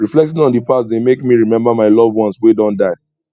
reflecting on di past dey make me remember my loved ones wey don die